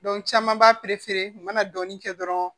caman b'a u mana dɔɔnin kɛ dɔrɔn